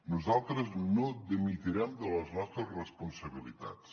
nosaltres no dimitirem de les nostres responsabilitats